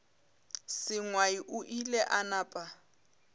sengwai o ile a napa